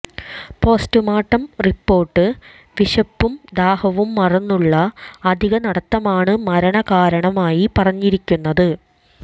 post-mortem report വിശപ്പൂം ദാഹവും മറന്നുള്ള അധികനടത്തമാണ് മരണകാരണമായി പറഞ്ഞിരിക്കുന്നത്